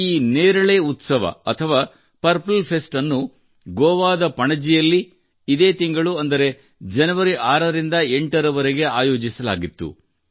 ಈ ನೇರಳೆ ಉತ್ಸವ ಅಥವಾ ಪರ್ಪಲ್ ಫೆಸ್ಟ್ ಅನ್ನು ಗೋವಾದ ಪಣಜಿಯಲ್ಲಿ ಇದೇ ತಿಂಗಳು ಅಂದರೆ ಜನವರಿ 6 ರಿಂದ 8 ರವರೆಗೆ ಆಯೋಜಿಸಲಾಗಿತ್ತು